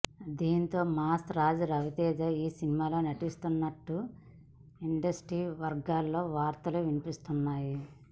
దీంతో మాస్ రాజా రవితేజ ఈ సినిమాలో నటిస్తున్నాడంటూ ఇండస్ట్రీ వర్గాల్లో వార్తలు వినిపిస్తున్నాయి